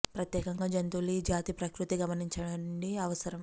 ప్రత్యేకంగా జంతువులు ఈ జాతి ప్రకృతి గమనించండి అవసరం